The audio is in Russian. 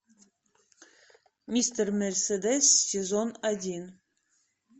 мистер мерседес сезон один